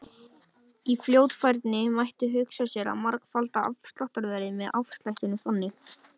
Í fyrsta lagi voru valdaár konunga ekki alltaf talin á einn og sama hátt.